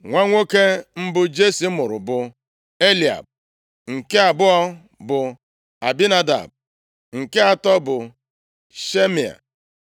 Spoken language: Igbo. Nwa nwoke mbụ Jesi mụrụ bụ Eliab; nke abụọ bụ Abinadab, nke atọ bụ Shimea.